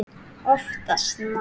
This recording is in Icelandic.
Oftast nær